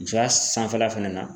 Musoya sanfɛla fɛnɛ na.